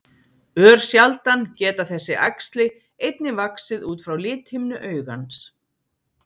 Örsjaldan geta þessi æxli einnig vaxið út frá lithimnu augans.